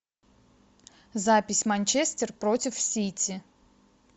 запись манчестер против сити